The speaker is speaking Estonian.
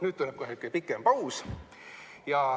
Nüüd tuleb kohe pikem paus.